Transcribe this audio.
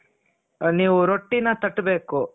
ನೀವು ರೊಟ್ಟಿನ ತಟ್ಟಬೇಕು.